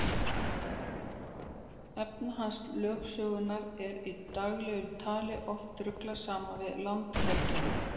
Efnahagslögsögunni er í daglegu tali oft ruglað saman við landhelgina.